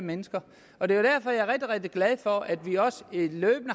mennesker og det er derfor at rigtig glad for at vi også løbende